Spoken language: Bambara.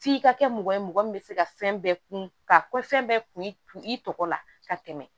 F'i ka kɛ mɔgɔ ye mɔgɔ min bɛ se ka fɛn bɛɛ kun ka ko fɛn bɛɛ kun i tɔgɔ la ka tɛmɛ